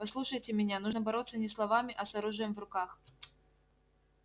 послушайте меня нужно бороться не словами а с оружием в руках